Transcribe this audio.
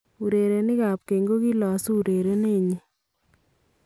Urerenik ab keny kokilasu urerenet nyin .